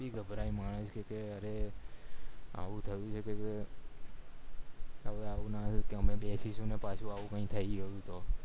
ભી ઘબરાય માણસ કે અરે આવું થયું છે કે બેસીસું અને પાછુ આવું નય થાય એવું તો